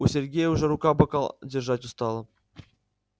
у сергея уже рука бокал держать устала